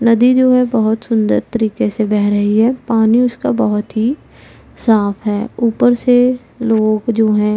नदी जो है बहोत सुंदर तरीके से बह रही है पानी उसका बहोत ही साफ है ऊपर से लोग जो हैं।